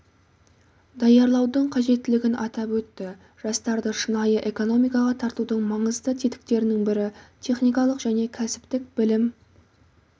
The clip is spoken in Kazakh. даярлаудың қажеттілігін атап өтті жастарды шынайы экономикаға тартудың маңызды тетіктерінің бірі техникалық және кәсіптік білім